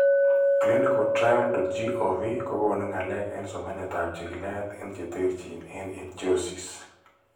ClinicalTrial.gov kokoonu ngalek en somanetab chikilet en che terchin en ichthyosis.